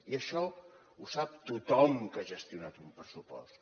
i això ho sap tothom que ha gestionat un pressupost